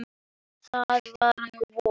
Það var á vorin.